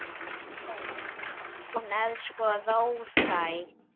Ó. Hún er sko róttæk.